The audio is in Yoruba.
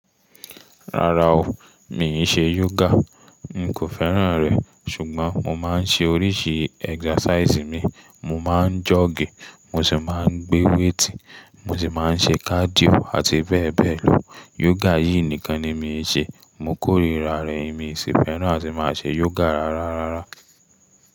Rárá o, mi ì ṣe yoga, n kò fẹ́ràn rẹ̀. Ṣùgbọ́n mo máa ń ṣe oríṣi exercise mi, mo máa ń jogge, mo sì máa ń gbé wéétì, mo sì máa ń ṣe cardio àti bẹ́ẹ̀ bẹ́ẹ̀ lọ. Yoga yìí nìkan ni mi ò ṣe, mo kórìíra rẹ̀, èmi sì fẹ́ràn àti máa ṣe yoga rárá rárá.